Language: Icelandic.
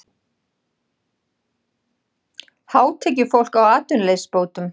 Hátekjufólk á atvinnuleysisbótum